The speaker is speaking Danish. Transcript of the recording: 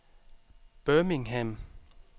Birmingham